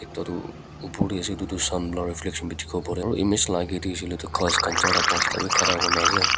ekta tu opor tae ase edu tu sun la reflection bi dikhiwo parewo aro image la akae tae hoishey koilae tu ghas khan charta pansta bi khara kurnaase.